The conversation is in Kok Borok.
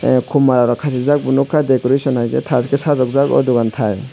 kom mala rok kasijak bo nogkha decoration haike tash ke sajokjak o dogan tai.